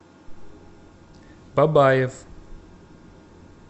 бабаев